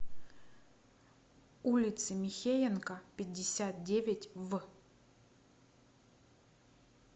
улицы михеенко пятьдесят девять в